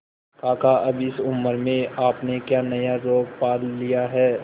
काका अब इस उम्र में आपने क्या नया रोग पाल लिया है